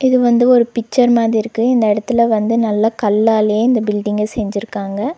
இது வந்து ஒரு பிச்சர் மாதி இருக்கு இந்த எடத்துல வந்து நல்ல கல்லாலயே இந்த பில்டிங்க செஞ்சிருக்காங்க.